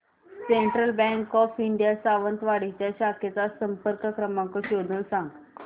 central Bank of India Sawantwadi च्या शाखेचा संपर्क क्रमांक शोधून सांग